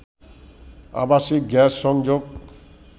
আবাসিক গ্যাস সংযোগ